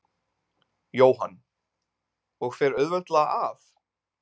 Jóhann: Og fer auðveldlega af?